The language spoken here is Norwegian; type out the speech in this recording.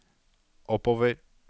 oppover